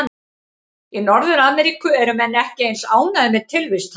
Í Norður-Ameríku eru menn ekki eins ánægðir með tilvist hans.